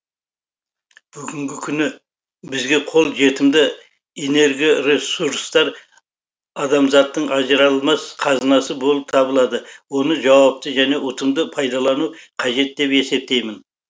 бүгінгі күні бізге қол жетімді энергоресурстар адамзаттың ажыралмас қазынасы болып табылады оны жауапты және ұтымды пайдалану қажет деп есептеймін